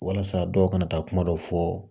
Walasa dɔw kana taa kuma dɔ fɔ